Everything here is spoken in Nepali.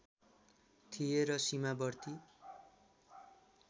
थिए र सीमावर्ती